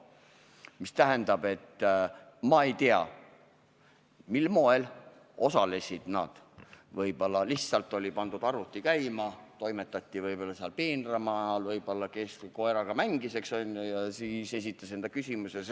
See tähendab, et ma ei tea, millisel moel opositsiooni liikmed täpselt osalesid, võib-olla olid nad lihtsalt arvuti käima pannud ja samal ajal toimetasid peenramaal või mängisid koeraga ja siis esitasid küsimusi.